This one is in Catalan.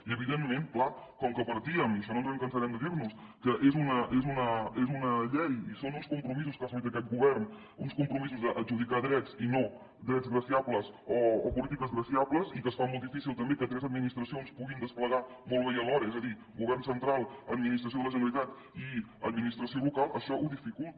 i evidentment clar com que partíem i això no ens cansarem de dir ho que és una llei i són uns compromisos que ha assolit aquest govern uns compromisos d’adjudicar drets i no drets graciables o polítiques graciables i que es fa molt difícil també que tres administracions puguin desplegar ho molt bé i alhora és a dir govern central administració de la generalitat i administració local això ho dificulta